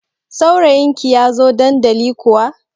Saurayin ki ya zo dandali kuwa?